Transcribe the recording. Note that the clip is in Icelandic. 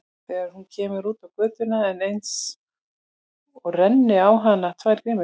Þegar hún kemur út á götuna er einsog renni á hana tvær grímur.